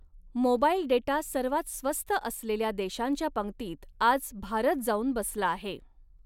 Mobile data सर्वात स्वस्त असलेल्या देशांच्या पंगतीत आज भारत जाऊन बसला आहे.